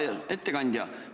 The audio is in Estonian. Hea ettekandja!